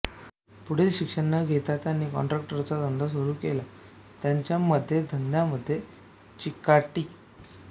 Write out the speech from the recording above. पुढील शिक्षण न घेता त्यांनी कॉन्ट्रॅक्टरचा धंदा सुरू केला त्यांच्यामध्ये धंद्यामध्ये चिकाटी